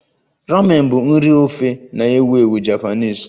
Ramen bụ nri ofe na-ewu ewu Japanese